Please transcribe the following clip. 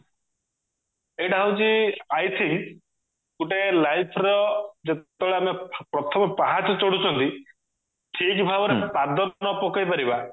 ଏଇଟା ହଉଛି i think ଗୁଟେ life ର ଯେତେବେଳେ ଆମେ ପ୍ରଥମ ପାହାଚ ଚଢୁଛନ୍ତି ଠିକ ଭାବରେ ପାଦ ନ ପକେଇପାରିବା